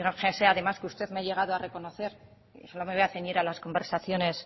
fíjese además que usted me ha llegado a reconocer solo me voy a ceñir a las conversaciones